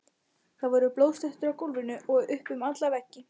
Það voru blóðslettur á gólfinu og upp um alla veggi!